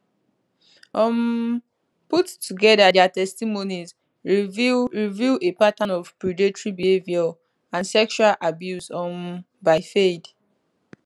um put togeda dia testimonies reveal reveal a pattern of predatory behaviour and sexual abuse um by fayed